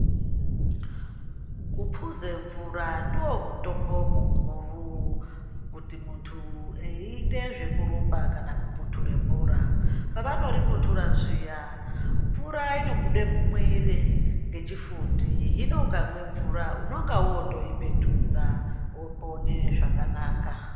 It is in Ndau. Kuphuze mvura ndoomutombo mukuru, kuti muntu eiite zvekurumba kana kupunture bhora. Pavanoripuntura zviya, mvura inobude mumwiiri ngechifundi, hino ukamwe mvura unonga wotoipetudza , wopone zvakanaka.